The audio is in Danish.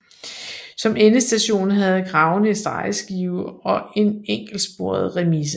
Som endestation havde Kragenæs drejeskive og en enkeltsporet remise